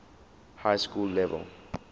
high school level